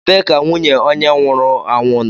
Ebee ka nwunye onye nwụrụ anwụ nọ?